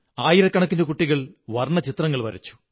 ആയിരക്കണക്കിനു കുട്ടികൾ വര്ണ്ണലചിത്രങ്ങൾ വരച്ചു